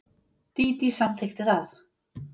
Dídí samþykkti það.